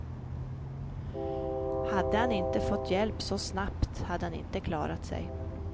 Hade han inte fått hjälp så snabbt hade han inte klarat sig.